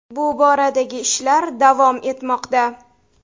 Bu boradagi ishlar davom etmoqda.